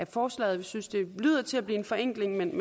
forslaget vi synes det lyder til at blive en forenkling men